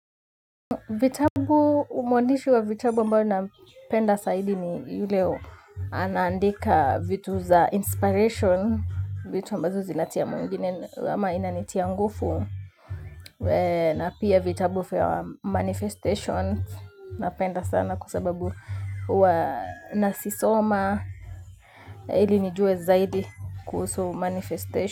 Vitabu umwandishi wa vitabu ambayo napenda saidi ni yule anaandika vitu za inspiration, vitu ambazo zinatia mwingine ama inanitia ngufu, na pia vitabu fya manifestation napenda sana kwa sababu huwa nasisoma ili nijue zaidi kuhusu manifestation.